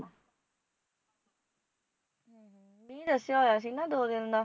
ਮੀਂਹ ਦੱਸਿਆ ਹੋਇਆ ਸੀ ਨਾ, ਦੋ ਦਿਨ ਦਾ